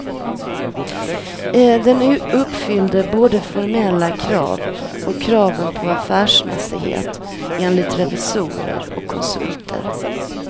Den uppfyllde både formella krav och kraven på affärsmässighet, enligt revisorer och konsulter.